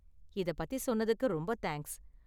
இத பத்தி சொன்னதுக்கு ரொம்ப தேங்க்ஸ்.